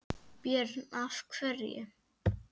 Björn: Af hverju?